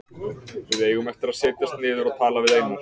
Við eigum eftir að setjast niður og tala við Einar.